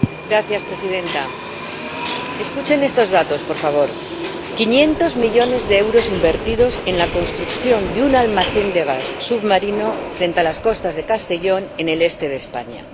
Señora Presidenta, escuchen estos datos, por favor 500 millones de euros invertidos en la construcción de un almacén de gas submarino frente a las costas de Castellón en el este de España